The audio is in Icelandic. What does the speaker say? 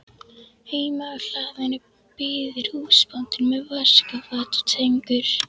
Heima á hlaðinu bíður húsbóndinn með vaskafat og tengur.